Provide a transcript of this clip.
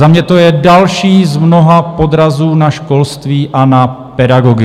Za mě to je další z mnoha podrazů na školství a na pedagogy.